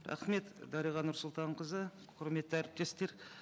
рахмет дариға нұрсұлтанқызы құрметті әріптестер